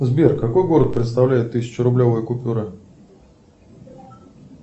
сбер какой город представляет тысячерублевая купюра